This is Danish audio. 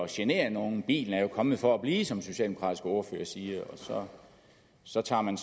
genere nogen bilen er jo kommet for at blive som den socialdemokratiske ordfører siger og så tager man